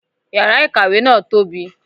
Yàrà ìkàwé náà tóbi